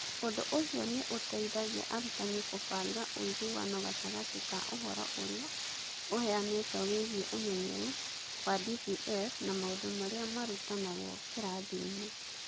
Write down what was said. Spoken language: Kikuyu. Ũndũ ũcio nĩ ũteithagia arutani kũbanga ũiguano gatagatĩ ka ũhoro ũrĩa ũheanĩtwo wĩgiĩ ũmenyeru wa DPL na maũndũ marĩa marutanagwo kĩrathiinĩ.